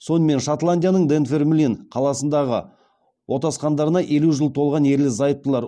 сонымен шотландияның данфермлин қаласында отасқандарына елу жеті жыл толған ерлі зайыптылар